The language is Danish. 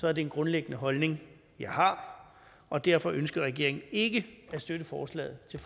er det en grundlæggende holdning jeg har og derfor ønsker regeringen ikke at støtte forslaget til